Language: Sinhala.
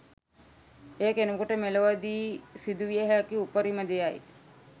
එය කෙනෙකුට මෙලොවදී සිදු විය හැකි උපරිම දෙයයි.